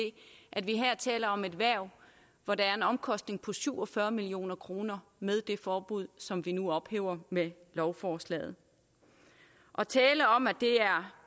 at vi her taler om et erhverv hvor der er en omkostning på syv og fyrre million kroner med det forbud som vi nu ophæver med lovforslaget at tale om at det er